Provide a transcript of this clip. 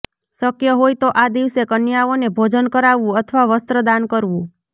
શક્ય હોય તો આ દિવસે કન્યાઓને ભોજન કરાવવું અથવા વસ્ત્ર દાન કરવું